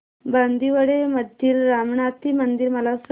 बांदिवडे मधील रामनाथी मंदिर मला सांग